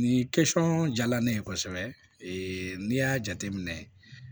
Nin kɛsɔn jala ne ye kosɛbɛ n'i y'a jateminɛ